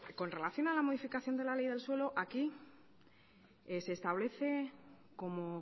con relación a la modificación de la ley del suelo aquí se establece como